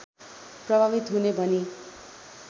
प्रभावित हुने भनी